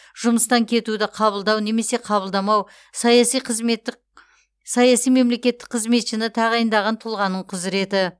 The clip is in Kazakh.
жұмыстан кетуді қабылдау немесе қабылдамау саяси қызметтік саяси мемлекеттік қызметшіні тағайындаған тұлғаның құзіреті